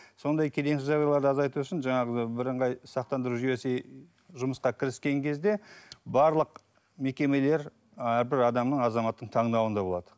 сондай келеңсіз жағдайларды азайту үшін жаңағы бірыңғай сақтандыру жүйесі жұмысқа кіріскен кезде барлық мекемелер әрбір адамның азаматтың таңдауында болады